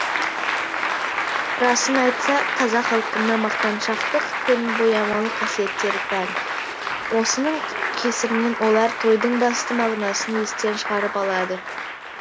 расын айтсақ қазақ халқына мақтаншақтық пен боямалық қасиеттері тән осының кесірінен олар тойдың басты мағынасын естен шығарып алады